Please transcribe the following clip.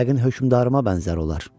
Yəqin hökmdarıma bənzər olar.